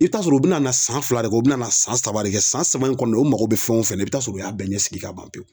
I bi t'a sɔrɔ u bina na san fila de kɛ u bina na san saba de kɛ. San saba in kɔndɔ u mago be fɛn o fɛn na i bi t'a sɔrɔ u y'a bɛɛ ɲɛ sigi ka ban pewu.